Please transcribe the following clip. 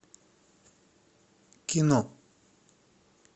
кино